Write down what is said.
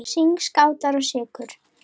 Sign, Skátar og Sykur.